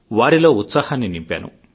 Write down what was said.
వారిలో ఉత్సాహాన్ని నింపాను